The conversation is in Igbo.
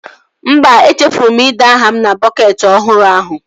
Mba, e chefuru m ide aha m na bọketị ọhụrụ ahụ